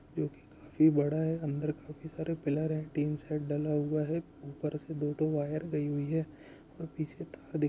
जो कि काफी बड़ा है अंदर काफी सारे पिलर है टीन शेड डला हुआ है ऊपर इसके दो ठो वायर गई हुई है और पीछे तार --